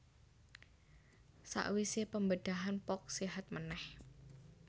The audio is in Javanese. Sakwise pembedahan Polk séhat meneh